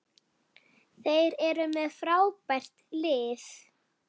Þeir eru með frábært lið.